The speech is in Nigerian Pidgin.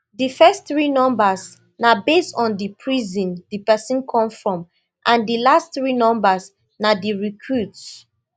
di first three numbers na based on di prision di pesin come from and di last three numbers na di recruit